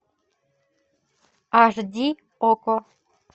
аш ди окко